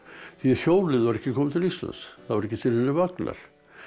því hjólið var ekki komið til Íslands það var ekki til neinir vagnar